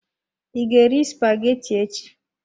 I ga-eri spaghetti echi?